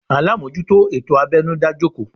Olumojuto ètò abẹnu dá jòkó